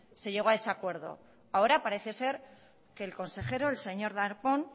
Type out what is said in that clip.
se llegó a ese acuerdo ahora parece ser que el consejero el señor darpón